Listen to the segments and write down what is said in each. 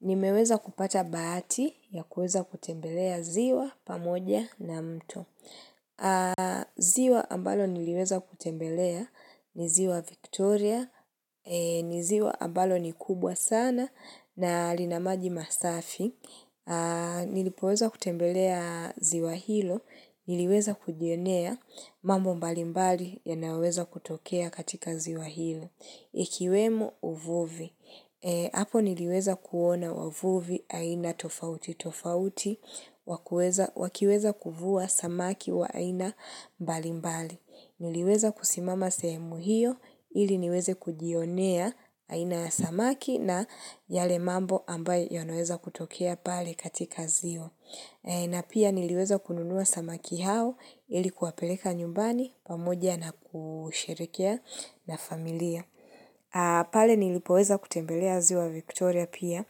Nimeweza kupata bahati ya kuweza kutembelea ziwa pamoja na mto. Ziwa ambalo niliweza kutembelea ni ziwa Victoria. Ni ziwa ambalo ni kubwa sana na lina maji masafi. Nilipoweza kutembelea ziwa hilo. Niliweza kujionea mambo mbalimbali yanayoweza kutokea katika ziwa hilo. Ikiwemo uvuvi. Hapo niliweza kuona wavuvi aina tofauti tofauti wakiweza kuvua samaki wa aina mbali mbali. Niliweza kusimama sehemu hiyo ili niweze kujionea aina ya samaki na yale mambo ambayo yanaweza kutokea pale katika ziwa. Na pia niliweza kununua samaki hao ili kuwapeleka nyumbani pamoja na kusherehekea na familia. Pale nilipoweza kutembelea ziwa Victoria pia,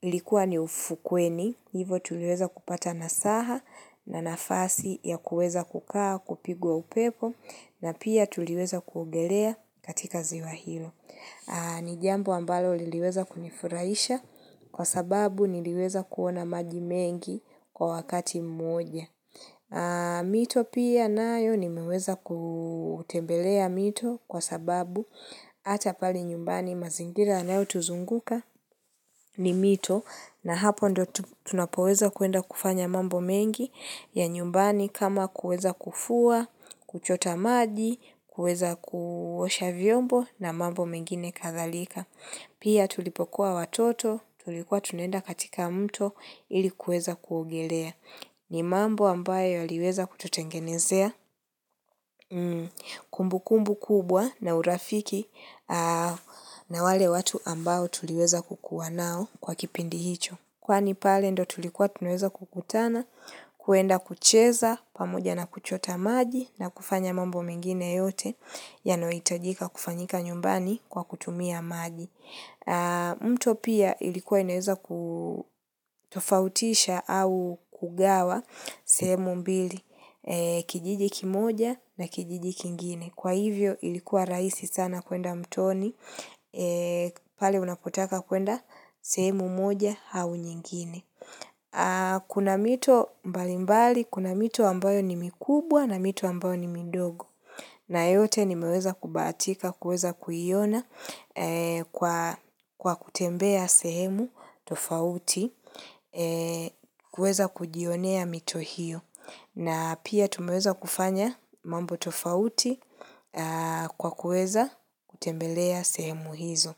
ilikuwa ni ufukweni, hivo tuliweza kupata nasaha na nafasi ya kuweza kukaa kupigwa upepo na pia tuliweza kuogelea katika ziwa hilo. Ni jambo ambalo liliweza kunifurahisha kwa sababu niliweza kuona maji mengi kwa wakati mmoja. Mito pia nayo nimeweza kutembelea mito kwa sababu hata pale nyumbani mazingira yanayotuzunguka ni mito. Na hapo ndio tunapoweza kuenda kufanya mambo mengi ya nyumbani kama kuweza kufua, kuchota maji, kuweza kuosha vyombo na mambo mengine kadhalika. Pia tulipokuwa watoto, tulikuwa tunaenda katika mto ili kuweza kuogelea. Ni mambo ambayo yaliweza kututengenezea kumbu kumbu kubwa na urafiki na wale watu ambao tuliweza kukuwa nao kwa kipindi hicho. Kwani pale ndio tulikuwa tunaweza kukutana, kuenda kucheza, pamoja na kuchota maji na kufanya mambo mengine yote, yanayohitajika kufanyika nyumbani kwa kutumia maji. Mto pia ilikuwa inaweza kutofautisha au kugawa sehemu mbili kijiji kimoja na kijiji kingine. Kwa hivyo ilikuwa rahisi sana kuenda mtoni, pale unapotaka kuenda sehemu moja au nyingine. Kuna mito mbali mbali, kuna mito ambayo ni mikubwa na mito ambayo ni midogo. Na yote nimeweza kubahatika, kuweza kuiona kwa kutembea sehemu tofauti, kuweza kujionea mito hiyo. Na pia tumeweza kufanya mambo tofauti kwa kuweza kutembelea sehemu hizo.